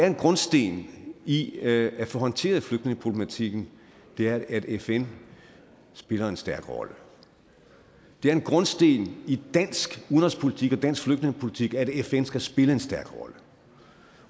en grundsten i at få håndteret flygtningeproblematikken er at fn spiller en stærk rolle det er en grundsten i dansk udenrigspolitik og dansk flygtningepolitik at fn skal spille en stærk rolle